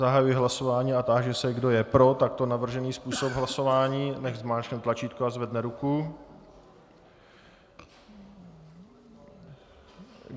Zahajuji hlasování a táži se, kdo je pro takto navržený způsob hlasování, nechť zmáčkne tlačítko a zvedne ruku.